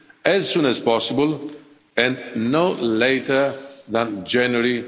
as soon as possible and no later than January